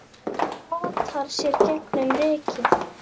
potar sér gegnum rykið